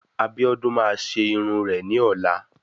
Abiodun máa ṣe irun rẹ̀ ní ọ̀la.